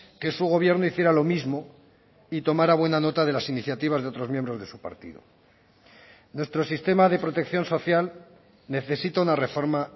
que su gobierno hiciera lo mismo y tomara buena nota de las iniciativas de otros miembros de su partido nuestro sistema de protección social necesita una reforma